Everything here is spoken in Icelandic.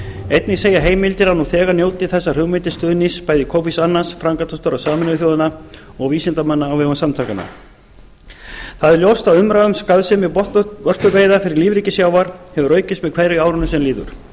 einnig segja heimildir að nú þegar njóti þessar hugmyndir stuðnings bæði kofis annans framkvæmdastjóra sameinuðu þjóðanna og vísindamanna á vegum samtakanna það er ljóst að umræða um skaðsemi botnvörpuveiða fyrir lífríki sjávar hefur aukist með hverju árinu sem líður